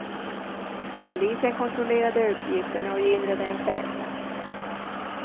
Polisen kontrollerade uppgifterna och gillrade en fälla.